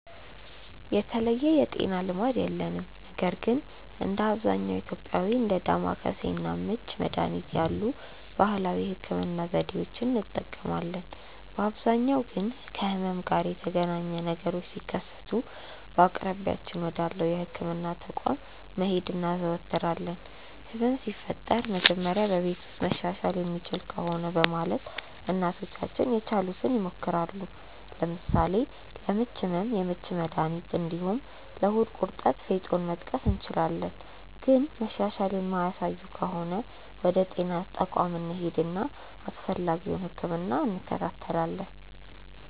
የተለየ የጤና ልማድ የለንም ነገር ግን እንደ አብዛኛው ኢትዮጵያዊ እንደ ዳማከሴ እና ምች መድሀኒት ያሉ ባህላዊ የህክምና ዘዴዎችን እንጠቀማለን። በአብዛኛው ጊዜ ግን ከህመም ጋር የተገናኘ ነገሮች ሲከሰቱ በአቅራቢያችን ወዳለው የህክምና ተቋም መሄድ እናዘወትራለን። ህመም ሲፈጠር መጀመሪያ በቤት ውስጥ መሻሻል የሚችል ከሆነ በማለት እናቶቻችን የቻሉትን ይሞክራሉ። ለምሳሌ ለምች ህመም የምች መድሀኒት እንዲሁም ለሆድ ቁርጠት ፌጦን መጥቀስ እንችላለን። ግን መሻሻል የማያሳዩ ከሆነ ወደ ጤና ተቋም እንሄድና አስፈላጊውን ህክምና እንከታተላለን።